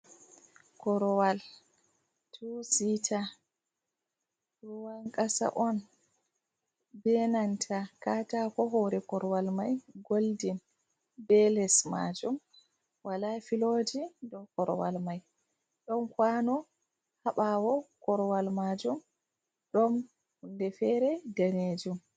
Korowal tu sita ruwan kasa on be nanta katako. Hoore koruwal mai goldin be les majum wala filoji dow koruwal mai, ɗon kwano haa ɓawo koruwal majum, ɗon hunde feere danejum.